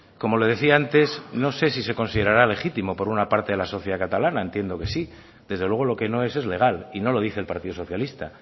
como le decía antes no sé si se considerará legítimo por una parte de la sociedad catalana entiendo que sí desde luego lo que no es es legal y no lo dice el partido socialista